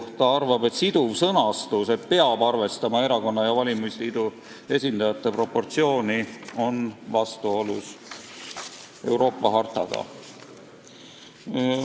Valitsus arvab, et siduv sõnastus "peab arvestama erakonna ja valimisliidu esindajate proportsiooni" on vastuolus hartaga.